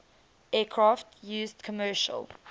aircraft used commercial